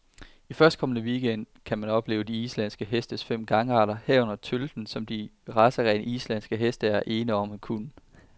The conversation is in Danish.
I førstkommende weekend gang kan man opleve de islandske hestes fem gangarter, herunder tølten, som de racerene, islandske heste er ene om at kunne.